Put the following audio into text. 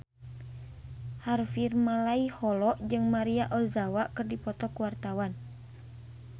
Harvey Malaiholo jeung Maria Ozawa keur dipoto ku wartawan